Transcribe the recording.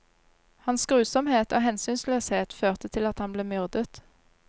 Hans grusomhet og hensynsløshet førte til at han ble myrdet.